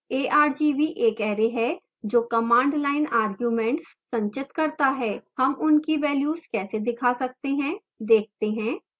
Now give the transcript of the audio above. argv एक array है जो command line arguments संचित करता है